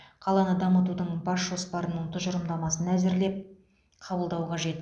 қаланы дамытудың бас жоспарының тұжырымдамасын әзірлеп қабылдау қажет